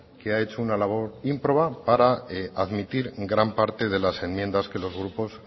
que ha hecho una labor ímproba para admitir gran parte de las enmiendas que los grupos